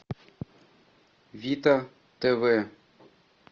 вита тв